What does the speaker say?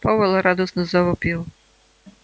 пауэлл радостно завопил